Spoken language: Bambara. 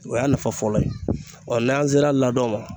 O y'a nafa fɔlɔ ye n'an sera ladon